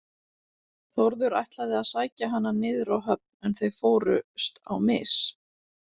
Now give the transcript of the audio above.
Þórður ætlaði að sækja hana niður á höfn en þau fórust á mis.